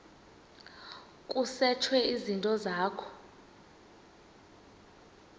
kusetshwe izinto zakho